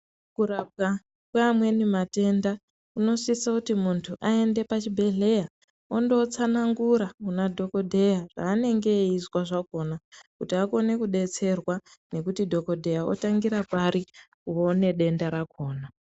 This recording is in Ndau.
Kurapwa kweamweni matenda kunosise kuti muntu aende pachibhedhlera, ondotsanangura kunadhogodheya zveanenge eizwa zvakhona, kuti akone kudetserwa ngekuti dhogodheya otangira pari oonedenda rakhona.